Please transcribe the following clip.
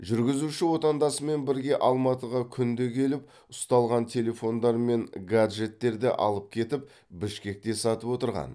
жүргізуші отандасымен бірге алматыға күнде келіп ұсталған телефондар мен гаджеттерді алып кетіп бішкекте сатып отырған